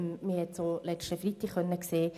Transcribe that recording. Wir konnten es letzten Freitag sehen: